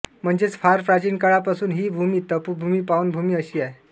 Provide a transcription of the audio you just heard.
म्हणजेच फार प्राचीन काळापासून ही भूमी तपोभूमी पावनभूमी अशी आहे